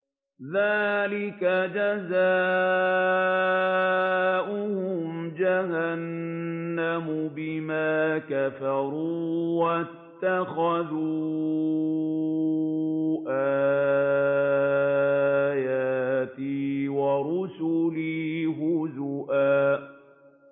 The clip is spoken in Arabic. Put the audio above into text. ذَٰلِكَ جَزَاؤُهُمْ جَهَنَّمُ بِمَا كَفَرُوا وَاتَّخَذُوا آيَاتِي وَرُسُلِي هُزُوًا